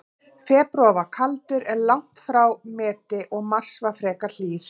Febrúar var kaldur, en langt frá meti, og mars var frekar hlýr.